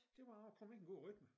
Det var det jeg var kommet i en god rytme